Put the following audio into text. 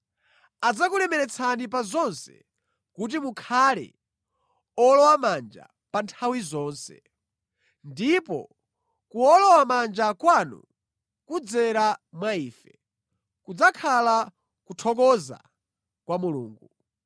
Adzakulemeretsani pa zonse kuti mukhale owolowamanja pa nthawi zonse. Ndipo kuwolowamanja kwanu kudzera mwa ife, kudzakhala kuthokoza kwa Mulungu.